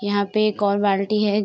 यहाँ पे एक और बाल्टी है।